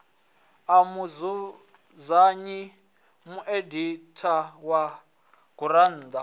a mudzudzanyi mueditha wa gurannḓa